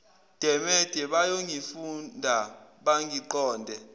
demede bayongifunda bangiqonde